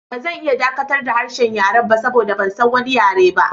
Ba zan iya dakatar da harshen yaren ba saboda ban san wani yare ba.